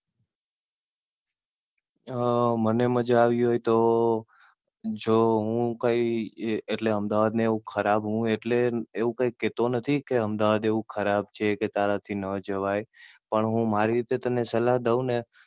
અમ મને મજા આવી હોય તો. જો હું કઈ એટલે હું કઈ અમદાવાદ ને એવું ખરાબ હું એટલે એવું કઈ કેહતો નથી. કે અમદાવાદ એવું કઈ ખરાબ છે, કે તારા થી ના જવાય. પણ હું મારી રીતે તને સલાહ દઉ ને